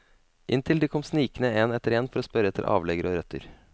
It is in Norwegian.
Inntil de kom snikende en etter en for å spørre etter avleggere og røtter.